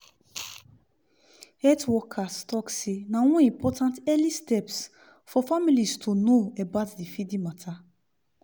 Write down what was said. health workers talk seh na one important early steps for families to know about the feeding mata